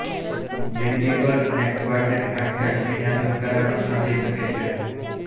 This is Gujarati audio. મેનડિબલ અને ક્વાડ્રેટ હાડકા જમીનના ધબકારા પણ સાંભળી શકે છે